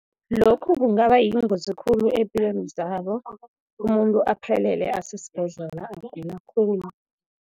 Lokhu kungaba yingozi khulu eempilweni zabo, umuntu aphelele asesibhedlela, agula khulu.